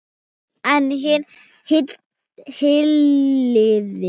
En hin hliðin.